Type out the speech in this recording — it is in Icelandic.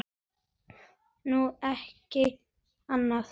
Nú, ekki annað.